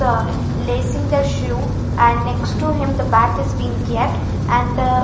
the lacing the shoe and next to him the bat is being kept and the --